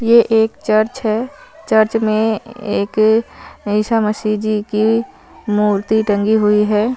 यह एक चर्च है चर्च में एक ईशा मशिजी कि मूर्ति रंगी हुई है।